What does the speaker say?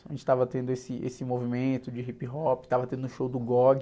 A gente estava tendo esse, esse movimento de hip hop, estava tendo um show do .fghfghsfghsfghnnmmn,nm,nm,nm,nm,nm,